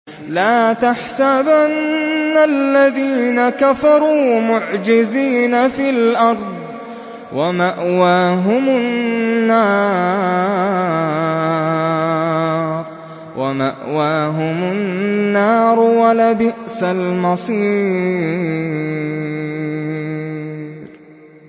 لَا تَحْسَبَنَّ الَّذِينَ كَفَرُوا مُعْجِزِينَ فِي الْأَرْضِ ۚ وَمَأْوَاهُمُ النَّارُ ۖ وَلَبِئْسَ الْمَصِيرُ